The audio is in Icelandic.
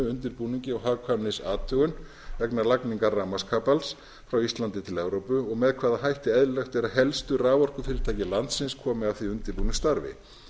undirbúningi og hagkvæmnisathugun vegna lagningar rafmagnskapals frá íslandi til evrópu og með hvaða hætti eðlilegt er að helstu raforkufyrirtæki landsins komi að því undirbúningsstarfi